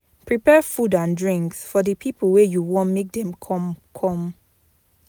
Prepare food and drinks for the pipo wey you won make dem come come